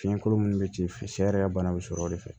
Fiɲɛkolo minnu bɛ ci sɛ yɛrɛ ka bana bɛ sɔrɔ o de fɛ